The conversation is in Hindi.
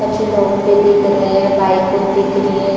कुछ लोग भी दिख रहै है बाइक उन दिख रही है।